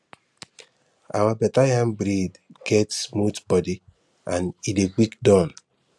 our better yam breed get smooth body and e dey quick Accepted